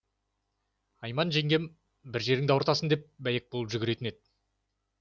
айман жеңгем бір жеріңді ауыртасың деп бәйек болып жүгіретін еді